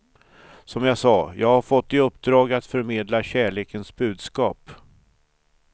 Som jag sa, jag har fått i uppdrag att förmedla kärlekens budskap.